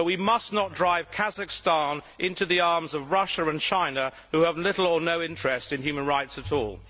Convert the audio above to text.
But we must not drive Kazakhstan into the arms of Russia and China, who have little or no interest in human rights at all.